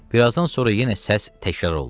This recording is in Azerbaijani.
Bir azdan sonra yenə səs təkrar oldu.